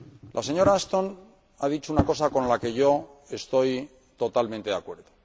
La señora Ashton ha dicho una cosa con la que yo estoy totalmente de acuerdo.